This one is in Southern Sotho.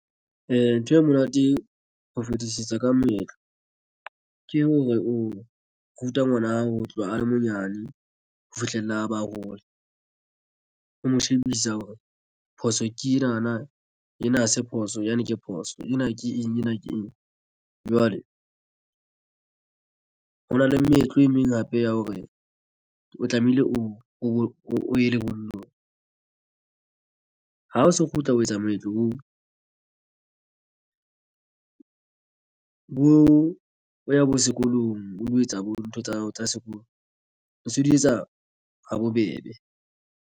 Ee, ntho e monate ho fetisisa ka moetlo ke hore o ruta ngwana hao ho tloha a le monyane ho fihlella a bahola o mo shebisa hore phoso ke enana ena ha se phoso yane ke phoso ena. Ke eng ena ke eng. Jwale ho na le meetlo e meng hape ya hore o tlamehile o ye lebollong ha o so kgutla ho etsa moetlo ho bo boya bo sekolong ho lo etsa bo ntho tsa hao tsa sekolo o so di etsa ha bobebe.